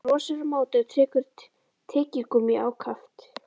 Hann brosir á móti og tyggur tyggigúmmí ákaft.